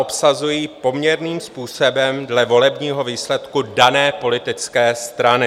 ... obsazují poměrným způsobem dle volebního výsledku dané politické strany.